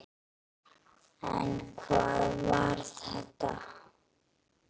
En hvað var þetta?